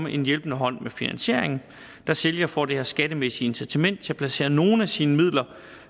en hjælpende hånd med finansieringen da sælger får det her skattemæssige incitament til at placere nogle af sine midler